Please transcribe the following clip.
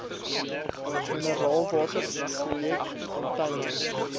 mineraalwater projek container